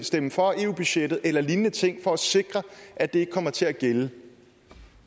stemme for eu budgettet eller lignende ting for at sikre at det ikke kommer til at gælde